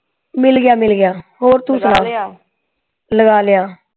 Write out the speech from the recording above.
ਮਿਲ ਗਿਆ ਮਿਲ ਗਿਆ ਹੋਰ ਤੂੰ ਸੁਣਾ ਲਗਾ ਲਿਆ